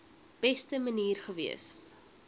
beste manier gewees